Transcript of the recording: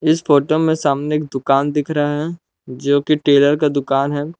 इस फोटो में सामने एक दुकान दिख रहा है जो की टेलर का दुकान है।